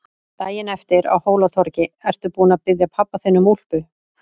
Daginn eftir, á Hólatorgi: Ertu búin að biðja pabba þinn um úlpu?